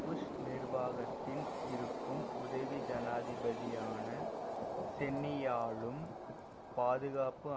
push நிர்வாகத்தின் இருக்கும் உதவி ஜனாதிபதியான சென்னியாலும் பாதுகாப்பு